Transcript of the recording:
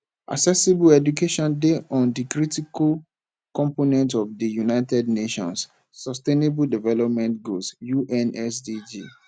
accessible education dey on di critical component of di united nations sustainable development goals unsdg